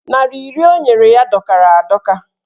Narị iri o nyere ya dọkara adọka.